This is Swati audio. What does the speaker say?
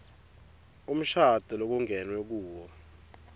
umshado lokungenwe kuwo